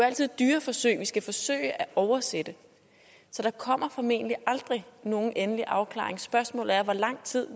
altid dyreforsøg vi skal forsøge at oversætte så der kommer formentlig aldrig nogen endelig afklaring så spørgsmålet er hvor lang tid